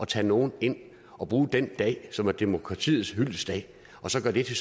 tage nogle ind og bruge den dag som er demokratiets hyldestdag og så gøre det